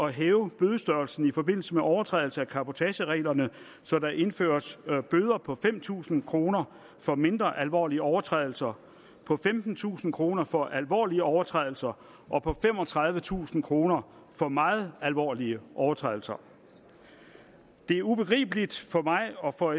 hæve bødestørrelsen i forbindelse med overtrædelse af cabotagereglerne så der indføres bøder på fem tusind kroner for mindre alvorlige overtrædelser på femtentusind kroner for alvorlige overtrædelser og på femogtredivetusind kroner for meget alvorlige overtrædelser det er ubegribeligt for mig og for